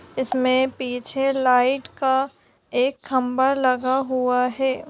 इसमें पीछे लाइट का एक खंबा लगा हुआ है।